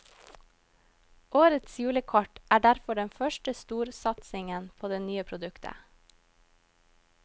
Årets julekort er derfor den første storsatsingen på det nye produktet.